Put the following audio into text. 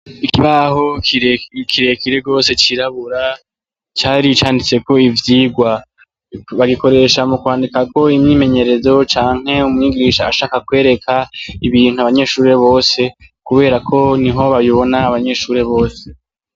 Ikibaho ikirekire gose cirabura cari canditse ko ivyigwa bagikoresha mu kwandika ko imyimenyerezo canke umunyigisha ashaka kwereka ibintu abanyeshuri bose kubera ko niho babibona abanyeshuri bose.